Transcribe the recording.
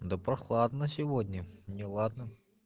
да прохладно сегодня не ладно